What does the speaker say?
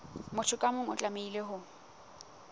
motho ka mong o tlamehile